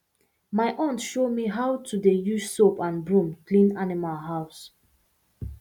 my aunt show me how to dey use soap and broom clean animal house